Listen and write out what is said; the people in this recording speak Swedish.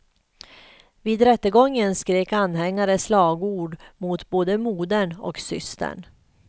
Vid rättegången skrek anhängare slagord mot både modern och systern.